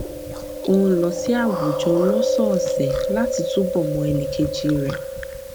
ó ń lọ sí àwùjọ lósòòsè láti túbọ mọ ẹnìkejì rẹ